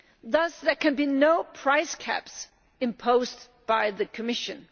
Thus there can be no price caps imposed by the Commission.